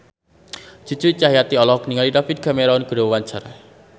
Cucu Cahyati olohok ningali David Cameron keur diwawancara